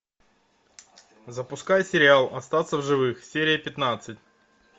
запускай сериал остаться в живых серия пятнадцать